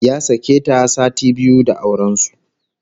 Ya sake ta sati biyu da auren su